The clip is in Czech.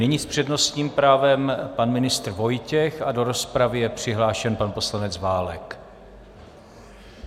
Nyní s přednostním právem pan ministr Vojtěch a do rozpravy je přihlášen pan poslanec Válek.